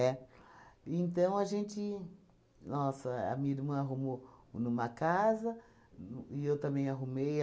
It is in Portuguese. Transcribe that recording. Então a gente, nossa, a minha irmã arrumou uma casa e eu também arrumei.